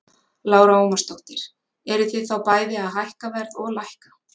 Lára Ómarsdóttir: Eruð þið þá bæði að hækka verð og lækka?